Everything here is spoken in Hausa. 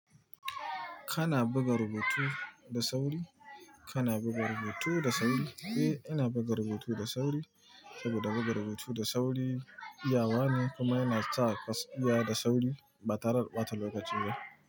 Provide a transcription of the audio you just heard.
Kana buga rubutu da sauri? Kana buga rubutu da sauri? Eh, ina buga rubutu da sauri saboda buga rubutu da sauri iyawa ne kuma yana sa ka iya da sauri ba tare a ɓata lokaci ba.